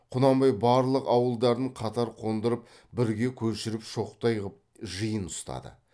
құнанбай барлық ауылдарын қатар қондырып бірге көшіріп шоқтай қып жиын ұстады